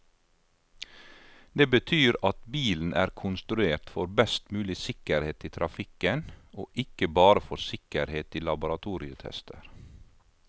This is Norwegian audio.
Det betyr at bilen er konstruert for best mulig sikkerhet i trafikken, og ikke bare for sikkerhet i laboratorietester.